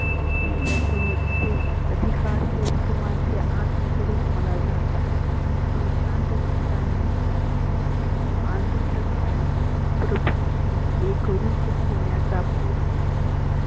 त्यांच्या सह तसेच अधीकस सर्वांचे आत्मस्वरुप मला जानतात. देशांत चित्ताने आनंद काळी एक रुप होण्याचा प्रयत्न